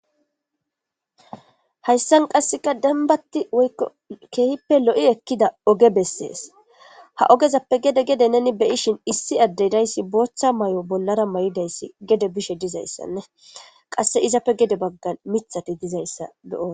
Haysan kaseka dembati woyko keehipe lo'i ekiza oge beses ha ogezape gede gede neni be'ishin issi ade de'iyasi bootha mayo bolara mayidaysi gede bishe dizaysane kase izape gede bagan mithati dizaysa be'os.